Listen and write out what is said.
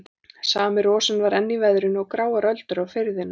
Sami rosinn var enn í veðrinu og gráar öldur á firðinum.